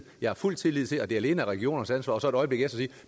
jeg fuld tillid til at det alene er regionernes ansvar og så et øjeblik efter sige